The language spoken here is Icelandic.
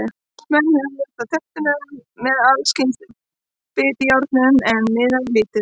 Menn hömuðust á tertunum með alls kyns bitjárnum, en miðaði lítið.